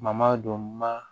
Mama don ma